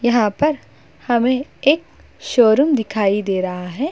यहाँ पर हमें एक शोरूम दिखाई दे रहा है।